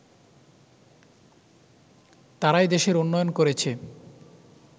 তারাই দেশের উন্নয়ন করেছে